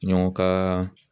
Ɲɔgɔn ka